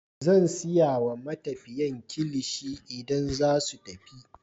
Zan sai wa matafiyan kilishi idan zasu tafi.